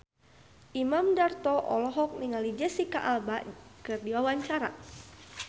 Imam Darto olohok ningali Jesicca Alba keur diwawancara